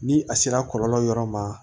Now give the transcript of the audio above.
Ni a sera kɔlɔlɔ yɔrɔ ma